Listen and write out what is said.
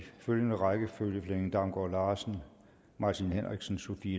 følgende rækkefølge flemming damgaard larsen martin henriksen sophie